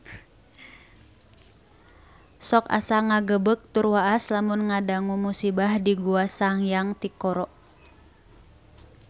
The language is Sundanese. Sok asa ngagebeg tur waas lamun ngadangu musibah di Gua Sanghyang Tikoro